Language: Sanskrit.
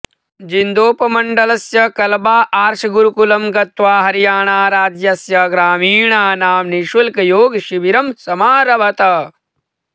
जिन्दोपमण्डलस्य कल्बा आर्षगुरुकुलं गत्वा हरियाणाराज्यस्य ग्रामीणानां निश्शुल्कयोगशिबिरं समारभत